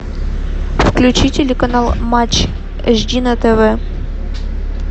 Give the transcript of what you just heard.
включи телеканал матч эйч ди на тв